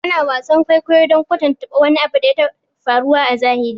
Ana wasan kwaikwayo don kwatanta wani abu da ya taɓa faruwa a zahiri